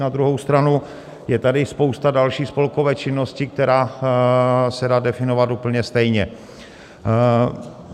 Na druhou stranu je tady spousta další spolkové činnosti, která se dá definovat úplně stejně.